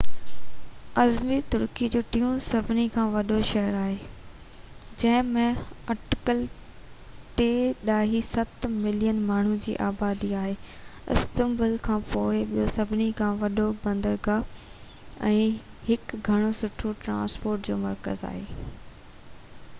Izmir Turkey جو ٽيون سڀني کان وڏو شهر آهي جنهن ۾ اٽڪل 3.7 ملين ماڻهن جي آبادي آهي استنبول کانپوءِ ٻيو سڀني کان وڏو بندرگاهہ ۽ هڪ گهڻو سٺو ٽرانسپورٽ جو مرڪز آهي